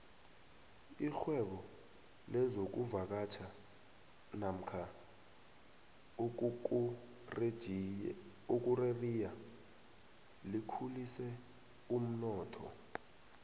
irhwebo lezokuvakatjha nomka ukukureriya likhulise umnotho